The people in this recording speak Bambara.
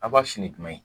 A b'a sin ni jumɛn ye